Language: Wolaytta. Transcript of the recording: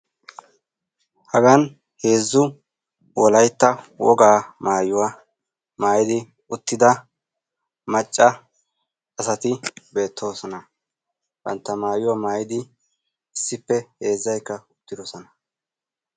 Hagan heezzu wogaa maayuwa maayidi uttida heezzu macca asati beettoosona. Bantta mayuwa mayidi issippe heezzayikka uttidosona.